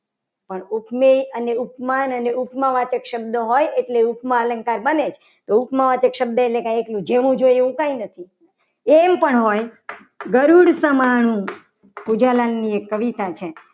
પણ ઉપમેય અને ઉપમાન અને ઉપમા વાચક શબ્દ હોય. એટલે ઉપમા અલંકાર બને જ ઉપમા હોય તો ઉપમા વાચક શબ્દ એટલે કે જેવું જોઈએ. એવું નથી. એમ પણ હોય ગરુડ સમાણું પૂજનની એક કવિતા છે.